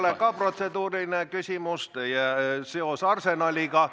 See ei ole ka protseduuriline küsimus, teie seos Arsenaliga.